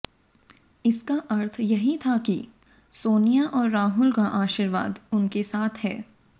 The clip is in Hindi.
इसका अर्थ यही था कि सोनिया और राहुल का आशीर्वाद उनके साथ है